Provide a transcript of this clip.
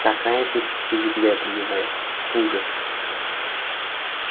какая ты привередливая ужас